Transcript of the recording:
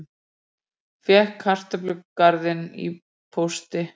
Fékk kartöflugarðinn í pósti